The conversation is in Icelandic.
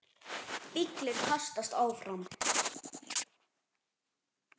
Bíllinn kastast áfram.